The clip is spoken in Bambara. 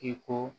I ko